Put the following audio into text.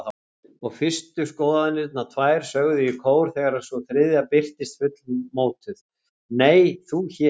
Og fyrstu skoðanirnar tvær sögðu í kór þegar sú þriðja birtist fullmótuð: Nei, þú hér?